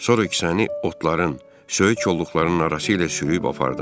Sonra kisəni otların, söyüç kolluqlarının arası ilə sürüyüb apardım.